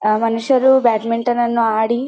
ಆಹ್ಹ್ ಮನುಷ್ಯರು ಬಾಟ್ಮಿಂಟೋನ್ ಅನ್ನು ಆಡಿ --